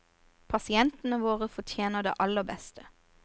Pasientene våre fortjener det aller beste.